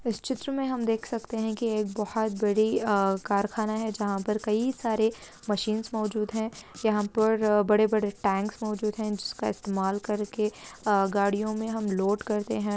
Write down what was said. इस चित्र में हम देख सकते हैं कि एक बहोत बड़ी अ कारखाना है जहाँ पर कई सारे मशीन्स मौजूद हैं यहाँ पर बड़े-बड़े टेंक्स मौजूद है इनसका इस्तेमाल करके अ गाड़ियों में हम लोड करते हैं।